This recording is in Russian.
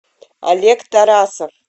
олег тарасов